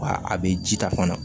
Wa a bɛ ji ta fana